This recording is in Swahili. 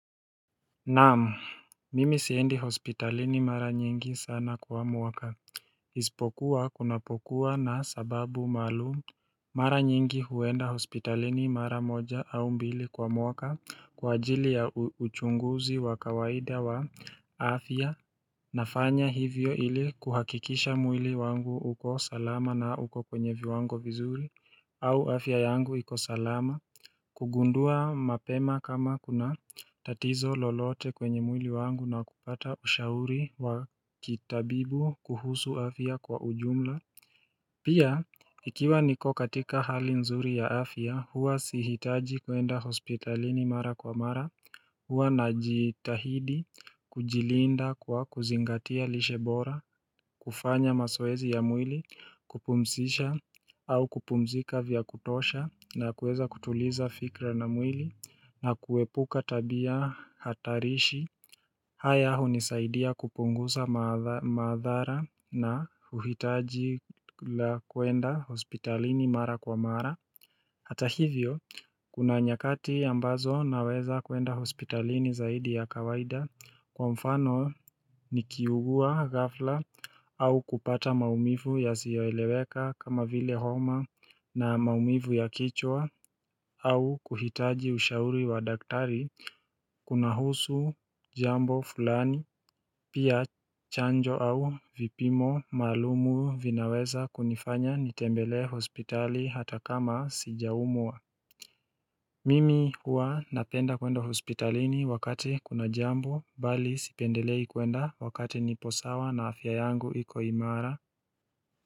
Naam, mimi siendi hospitalini mara nyingi sana kwa mwaka Isipokuwa kunapokuwa na sababu maalum, mara nyingi huenda hospitalini mara moja au mbili kwa mwaka kwa ajili ya uchunguzi wa kawaida wa afya nafanya hivyo ili kuhakikisha mwili wangu uko salama na uko kwenye viwangu vizuri au afya yangu iko salama kugundua mapema kama kuna tatizo lolote kwenye mwili wangu na kupata ushauri wa kitabibu kuhusu afya kwa ujumla Pia, ikiwa niko katika hali nzuri ya afia, hua sihitaji kuenda hospitalini mara kwa mara Huwa na jitahidi kujilinda kwa kuzingatia lishe bora, kufanya mazoezi ya mwili, kupumsisha au kupumzika vya kutosha na kueza kutuliza fikra na mwili na kuepuka tabia hatarishi haya hunizaidia kupungusa madhara na uhitaji la kuenda hospitalini mara kwa mara Hata hivyo kuna nyakati ambazo naweza kuenda hospitalini zaidi ya kawaida kwa mfano ni kiugua gafla au kupata maumivu yazioeleweka kama vile homa na maumivu ya kichwa au kuhitaji ushauri wa daktari kunahusu jambo fulani pia chanjo au vipimo maalumu vinaweza kunifanya nitembele hospitali hata kama sijaumwa Mimi huwa napenda kwenda hospitalini wakati kuna jambo bali sipendelei kwenda wakati nipo sawa na afya yangu iko imara.